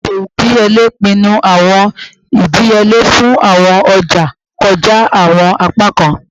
Eto idiyele pinnu awọn idiyele fun awọn ọja kọja awọn apakan